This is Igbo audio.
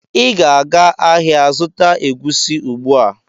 Ị ga-aga ahịa zụta egwusi ugbu a!